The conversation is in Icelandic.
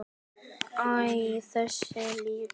Æ, þessi líka